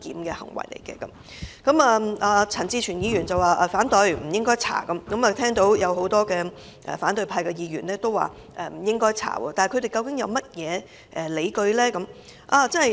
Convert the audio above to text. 就此，陳志全議員和多位反對派議員均表示不應該調查。但他們究竟有甚麼理據呢？